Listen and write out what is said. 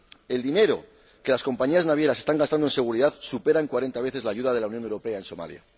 El dinero que las compañías navieras están gastando en seguridad supera en 40 veces la ayuda de la Unión Europea a Somalia.